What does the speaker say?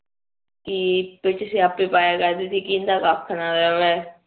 ਕੀ ਕੇ ਇੰਨਾ ਦਾ ਕੱਖ ਵੀ ਨਾ ਰਵੈ